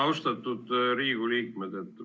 Austatud Riigikogu liikmed!